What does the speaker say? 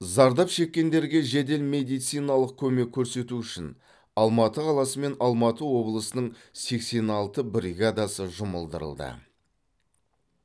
зардап шеккендерге жедел медициналық көмек көрсету үшін алматы қаласы мен алматы облысының сексен алты бригадасы жұмылдырылды